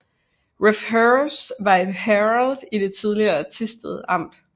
Refs Herred var et herred i det tidligere Thisted Amt